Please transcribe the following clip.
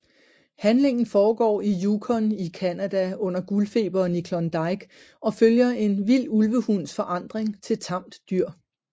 Handlingen foregår i Yukon i Canada under Guldfeberen i Klondike og følger en vild ulvehunds forandring til tamt dyr